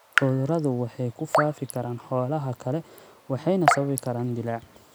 Cuduradu waxay ku faafi karaan xoolaha kale waxayna sababi karaan dillaac.